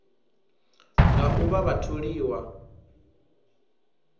nga u vha vha tholiwa